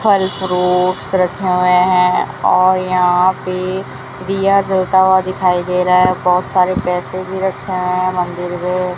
फल फ्रूट्स रखे हुए हैं और यहां पे दीया जलता हुआ दिखाई दे रहा है बहुत सारे पैसे भी रखे हुए हैं मंदिर पे।